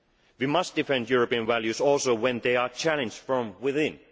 We must defend European values also when they are challenged from within.